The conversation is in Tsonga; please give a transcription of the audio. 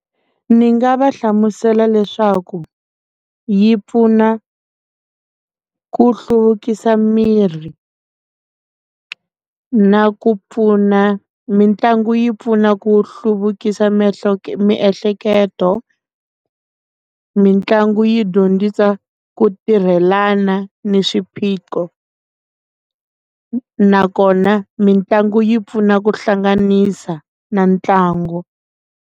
Ni nga va hlamusela leswaku yi pfuna ku hluvukisa miri na ku pfuna mitlangu yi pfuna ku hluvukisa miehleketo miehleketo mitlangu yi dyondzisa ku tirhela fana ni swiphiqo na kona mitlangu yi pfuna ku hlanganisa na ntlango.